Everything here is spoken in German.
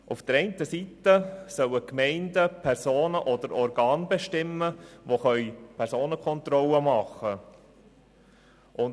Die Gemeinden sollen Personen oder Organe bestimmen, die Personenkontrollen machen können.